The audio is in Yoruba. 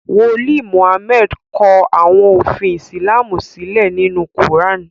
wòlíì Mohammed kò àwọn òfin Islamu sílé nínú kuran.